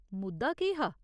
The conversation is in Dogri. मुद्दा केह् हा ?